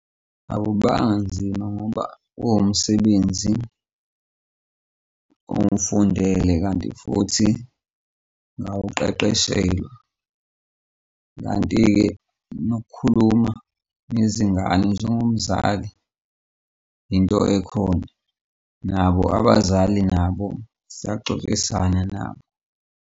Akubanga nzima ngoba uwumsebenzi owufundele, kanti futhi nowuqeqeshelwe. Kanti-ke nokukhuluma nezingane njengomzali into ekhona nabo abazali nabo sixoxisana nabo.